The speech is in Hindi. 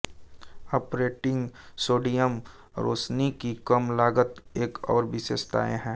ऑपरेटिंग सोडियम रोशनी की कम लागत एक और विशेषता है